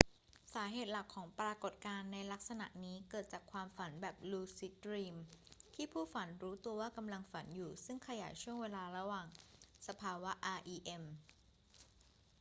สาเหตุหลักของปรากฏการณ์ในลักษณะนี้เกิดจากความฝันแบบลูซิดดรีมที่ผู้ฝันรู้ตัวว่ากำลังฝันอยู่ซึ่งขยายช่วงเวลาระหว่างสภาวะ rem